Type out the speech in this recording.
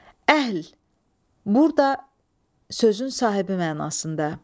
Əhl burda sözün sahibi mənasında.